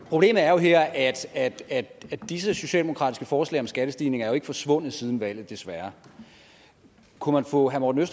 problemet er jo her at at disse socialdemokratiske forslag om skattestigninger ikke er forsvundet siden valget desværre kunne man få herre morten